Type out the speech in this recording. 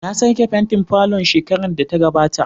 Na sake fentin falon shekarar da ta gabata.